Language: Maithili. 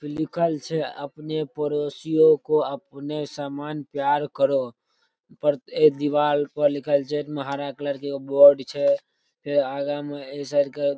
लिखल छै अपने पड़ोसी को अपने समान प्यार करो प्रत्येक दीवाल पर लिखल छै हरा कलर के एगो बोर्ड छै फेर आगा मे ये साइड के --